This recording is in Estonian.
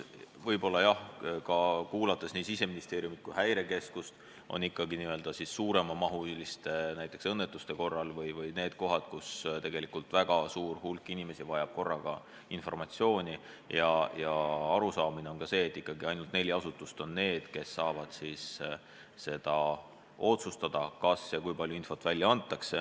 Ja kuulates nii Siseministeeriumi kui Häirekeskust, on selge, et n-ö suuremahuliste õnnetuste korral vajab väga suur hulk inimesi korraga informatsiooni ja ainult neli asutust on need, kes saavad siis otsustada, kui palju infot välja antakse.